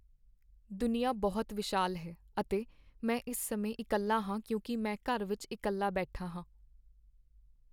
ਦੁਨੀਆ ਬਹੁਤ ਵਿਸ਼ਾਲ ਹੈ ਅਤੇ ਮੈਂ ਇਸ ਸਮੇਂ ਇਕੱਲਾ ਹਾਂ ਕਿਉਂਕਿ ਮੈਂ ਘਰ ਵਿਚ ਇਕੱਲਾ ਬੈਠਾ ਹਾਂ।